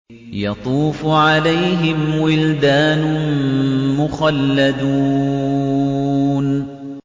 يَطُوفُ عَلَيْهِمْ وِلْدَانٌ مُّخَلَّدُونَ